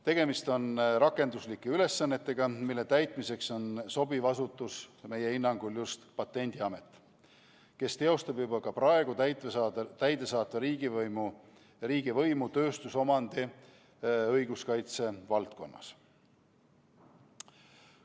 Tegemist on rakenduslike ülesannetega, mille täitmiseks on sobivaim asutus meie hinnangul Patendiamet, kes juba praegu teostab täidesaatvat riigivõimu tööstusomandi õiguskaitse valdkonnas.